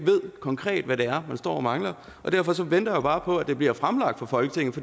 konkret hvad det er man står og mangler derfor venter jeg bare på at det bliver fremlagt for folketinget